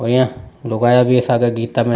ओया लोग आ गया स गीता में।